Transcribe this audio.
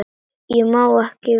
Ég má ekki við miklu.